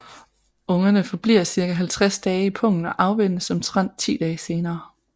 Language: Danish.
Ungerne forbliver cirka 50 dage i pungen og afvænnes omtrent 10 dage senere